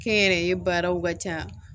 Kɛnyɛrɛye baaraw ka ca